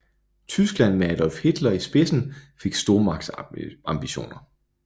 Tyskland med Adolf Hitler i spidsen fik stormagtsambitioner